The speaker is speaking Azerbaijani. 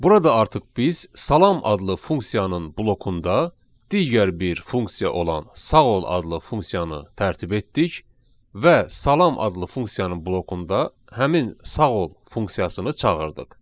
Burada artıq biz salam adlı funksiyanın blokunda digər bir funksiya olan sağ ol adlı funksiyanı tərtib etdik və salam adlı funksiyanın blokunda həmin sağ ol funksiyasını çağırdıq.